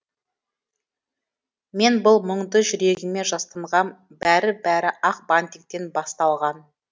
мен бұл мұңды жүрегіме жастанғам бәрі бәрі ақ бантиктен басталған